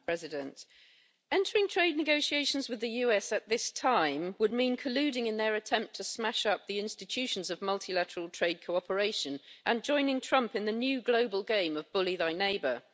Madam President, entering trade negotiations with the US at this time would mean colluding in their attempt to smash up the institutions of multilateral trade cooperation and joining Trump in the new global game of bully thy neighbour'.